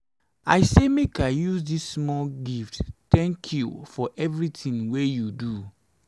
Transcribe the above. i say make i use dis small gift tank you for evertin wey you do.